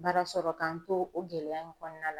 Baara sɔrɔ k'an to o gɛlɛya in kɔnɔna la.